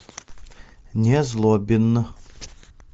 незлобин